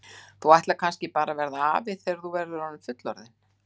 Þú ætlar kannski bara að verða afi þegar þú verður fullorðinn?